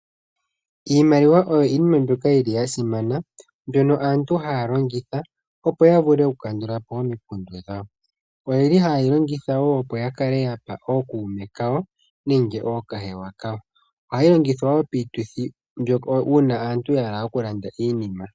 Iimaliwa oyo iinima ya simana mbyono aantu haya longitha opo ya vule oku kandulapo omikundu dhayo. Oha ye yi longitha woo opo ya kale yapa ookuume kayo nenge ookahewa kayo. Ohayi longithwa woo piituthi uuna aantu yahala oku landa iinima.